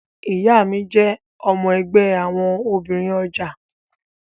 Ìyá mi jẹ́ ọmọ ẹgbẹ́ àwọn obìnrin ọjà